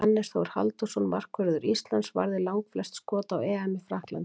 Hannes Þór Halldórsson, markvörður Íslands, varði langflest skot á EM í Frakklandi.